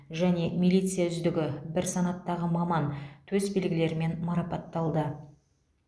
және милиция үздігі бір санаттағы маман төсбелгілерімен марапатталды